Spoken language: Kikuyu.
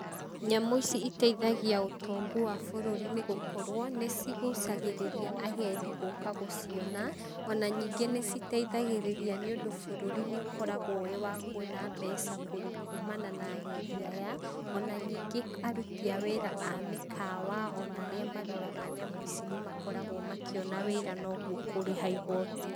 Nyamũ ici iteithagia ũtongu wa bũrũri nĩ gũkorwo nĩ cigucagĩrĩria agendi gũka gũciona, ona ningĩ nĩ citeithagĩrĩria nĩ ũndũ bũrũri nĩ ũkoragwo wĩ wa kuona mbeca kũrĩ kumana na agendi aya, ona ningĩ aruti a wĩra a mĩkawa ona arĩa maroraga nyamũ ici nĩ makoragwo makĩona wĩra noguo kũrĩha igoti.